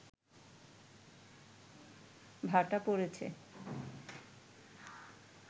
ভাটা পড়েছে